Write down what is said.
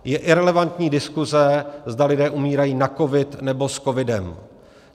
Je irelevantní diskuse, zda lidé umírají na covid, nebo s covidem.